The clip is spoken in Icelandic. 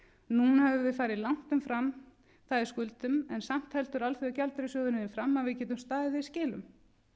núna höfum við farið lang umfram það í skuldum en samt heldur alþjóðagjaldeyrissjóðurinn því fram að við getum staðið í skilum